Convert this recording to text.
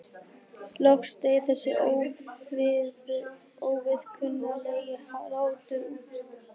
Loks deyr þessi óviðkunnanlegi hlátur út.